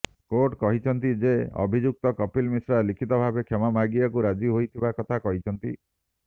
court କହିଛନ୍ତି ଯେ ଅଭିଯୁକ୍ତ କପିଲ ମିଶ୍ରା ଲିଖିତ ଭାବେ କ୍ଷମା ମାଗିବାକୁ ରାଜି ହୋଇଥିବା କଥା କହିଛନ୍ତି